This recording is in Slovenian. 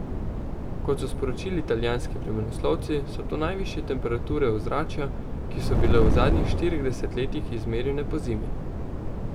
Kot so sporočili italijanski vremenoslovci, so to najvišje temperature ozračja, ki so bile v zadnjih štirih desetletjih izmerjene pozimi.